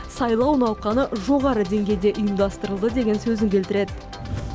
сайлау науқаны жоғары деңгейде ұйымдастырылды деген сөзін келтіреді